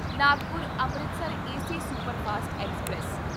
Nagpur Amritsar AC superfast express